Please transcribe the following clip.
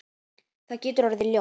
Það getur orðið ljótt.